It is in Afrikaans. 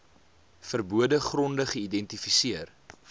verbode gronde geïdentifiseer